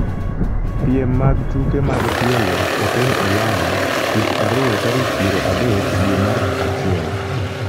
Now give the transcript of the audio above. piem mag tuke mag tielo e piny Ulaya tich ariyo tarik piero adek dwe mar achiel